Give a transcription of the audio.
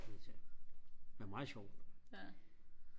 men meget sjovt